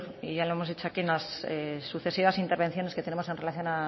y ya lo hemos hecho aquí en las sucesivas intervenciones que tenemos en relación